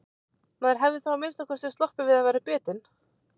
Maður hefði þá að minnsta kosti sloppið við að verða bitinn.